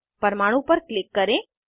परमाणु पर क्लिक करें